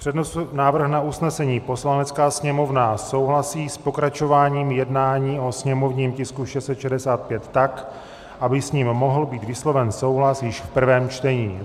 Přednesu návrh na usnesení: "Poslanecká sněmovna souhlasí s pokračováním jednání o sněmovním tisku 665 tak, aby s ním mohl být vysloven souhlas již v prvém čtení."